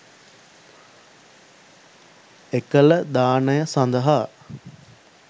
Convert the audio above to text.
එකල දානය සඳහා